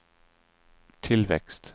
tillväxt